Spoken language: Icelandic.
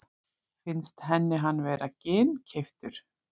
Finnst henni hann vera ginnkeyptur?